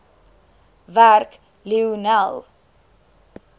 werk lionel